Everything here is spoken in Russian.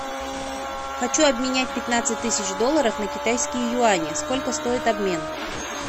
хочу обменять пятнадцать тысяч долларов на китайские юани сколько стоит обмен